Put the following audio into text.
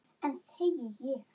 Enn þegi ég.